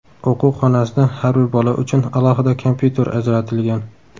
O‘quv xonasida har bir bola uchun alohida kompyuter ajratilgan.